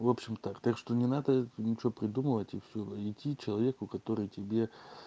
в общем так так что не надо ничего придумывать и все идти человеку который тебе